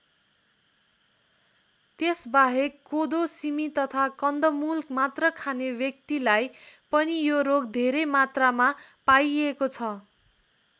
त्यसबाहेक कोदो सिमी तथा कन्दमूल मात्र खाने व्यक्तिलाई पनि यो रोग धेरै मात्रामा पाइएको छ।